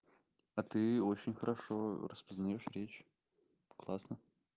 а ты очень хорошо распознаёшь речь классно